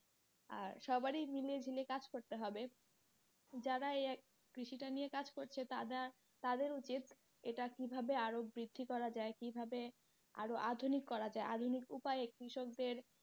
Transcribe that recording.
আর সবারই মিলে ঝিলে কাজ করতে হবে যারা এই কৃষি টা নিয়ে কাজ করছে তারা তাদের উচিৎ এটা কীভাবে আরও বৃদ্ধি করা যায় আকিয়াবে আরও আধুনিক করা যায় আধুনিক উপায় কৃষক দের,